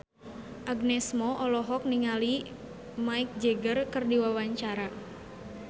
Agnes Mo olohok ningali Mick Jagger keur diwawancara